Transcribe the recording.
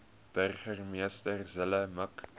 burgemeester zille mik